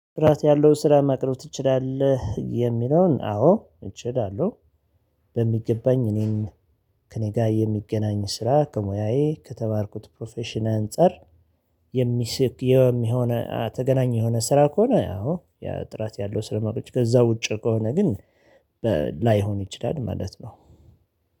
ጥራት ያለው ስራ ማቅረብ ትችላለህ? የሚለውን አዎ እችላለሁ። በሚገባኝ እኔም ከእኔ ጋር የሚገናኝ ስራ ከሙያዬ ከተማርኩት ፕሮፌሽናል አንፃር። የሚስቅ የሚሆነ ተገናኝ የሆነ ስራ ከሆነ ያው ጥራት ያለው ስለማቆይ ከዛ ውጪ ከሆነ ግን። ላይሆን ይችላል ማለት ነው።